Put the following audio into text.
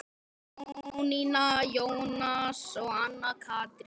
Jónína, Jónas og Anna Katrín.